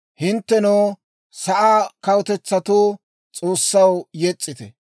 Hinttenoo, sa'aa kawutetsatoo, S'oossaw yes's'ite;